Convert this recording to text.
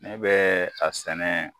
Ne bɛɛ a sɛnɛ